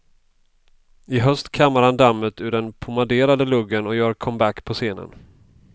I höst kammar han dammet ur den pomaderade luggen och gör comeback på scenen.